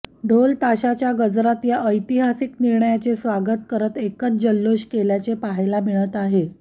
ढोल ताशाच्या गजरात या ऐतिहासिक निर्णयाचे स्वागत करत एकच जल्लोष केल्याचे पाहायला मिळत आहे